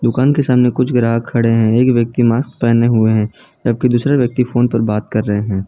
दुकान के सामने कुछ ग्राहक खड़े हैं एक व्यक्ति मास्क पहने हुए हैं जबकि दूसरा व्यक्ति फोन पर बात कर रहे हैं।